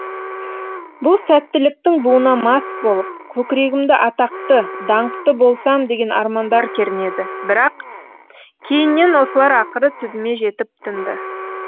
бұл сәттіліктің буына мас болып көкірегімді атақты даңқты болсам деген армандар кернеді бірақ кейіннен осылар ақыры түбіме жетіп тынды